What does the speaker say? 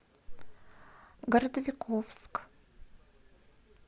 городовиковск